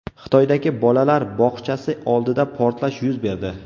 Xitoydagi bolalar bog‘chasi oldida portlash yuz berdi.